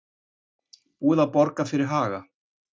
Búið að borga fyrir Haga